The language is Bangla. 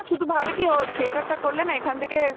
শুধু ভাবে কি ও theater টা করলে না এখান থেকে